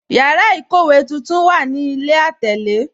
Yàrà ikówe tuntun wà ní ilẹ̀ atẹlè.